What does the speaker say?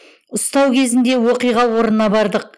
ұстау кезінде оқиға орнына бардық